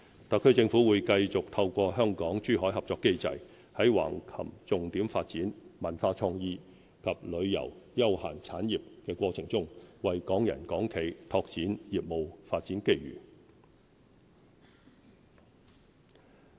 特區政府會繼續透過香港珠海合作機制，在橫琴重點發展文化創意及旅遊休閒產業過程中，為港人港企拓展業務發展機遇。